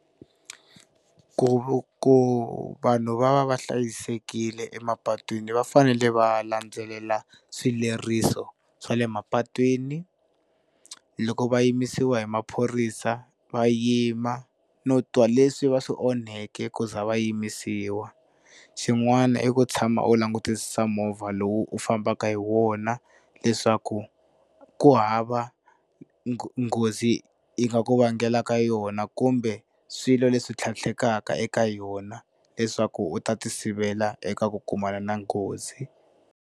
Ku ku vanhu va va va hlayisekile emapatwini va fanele va landzelela swileriso swa le mapatwini loko va yimisiwa hi maphorisa va yima no twa leswi va swi onheke ku za va yimisiwa. Xin'wana i ku tshama u langutisa movha lowu u fambaka hi wona leswaku ku hava nghozi yi nga ku vangela ka yona kumbe swilo leswi tlhatlheka eka yona leswaku u ta ti sivela eka ku kumana na nghozi.